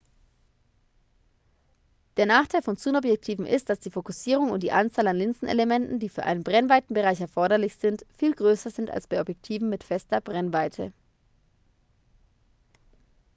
der nachteil von zoomobjektiven ist dass die fokussierung und die anzahl an linsenelementen die für einen brennweitenbereich erforderlich sind viel größer sind als bei objektiven mit fester brennweite